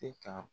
E ka